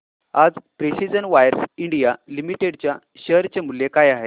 आज precision wires India limited च्या share चे मूल्य काय आहे